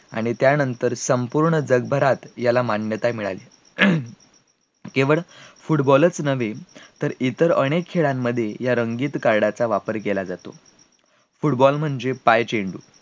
आणि त्या नंतर संपूर्ण जगभरात याला मान्यता झाली केवळ football च नव्हे तर इतर अनेक खेळांमध्ये या रंगीत card चा वापर केला जातो, football म्हणजे पायजे